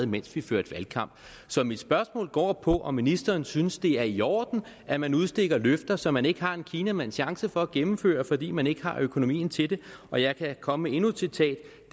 mens vi førte valgkamp så mit spørgsmål går på om ministeren synes det er i orden at man udstikker løfter som man ikke har en kinamands chance for at gennemføre fordi man ikke har økonomien til det og jeg kan komme med endnu et citat